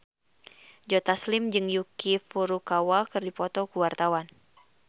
Joe Taslim jeung Yuki Furukawa keur dipoto ku wartawan